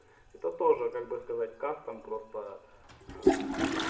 это тоже как бы сказать кастом просто ээ